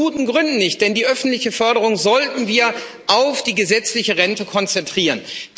Aus guten Gründen nicht, denn die öffentliche Förderung sollten wir auf die gesetzliche Rente konzentrieren.